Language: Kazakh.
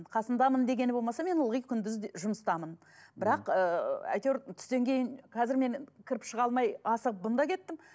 қасындамын дегені болмаса мен ылғы күндіз жұмыстамын бірақ ыыы әйтеуір түстен кейін қазір мен кіріп шыға алмай асығып бұнда кеттім